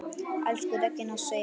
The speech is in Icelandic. Elsku Regína Sif.